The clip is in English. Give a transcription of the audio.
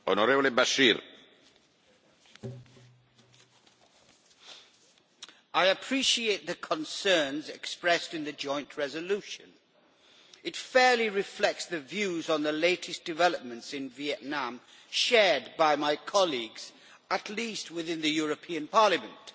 Mr President, I appreciate the concerns expressed in the joint resolution. It fairly reflects the views on the latest developments in Vietnam shared by my colleagues, at least within the European Parliament.